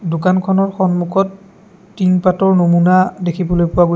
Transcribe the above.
দোকানখনৰ সন্মুখত টিনপাতৰ নমুনা দেখিবলৈ পোৱা গৈ--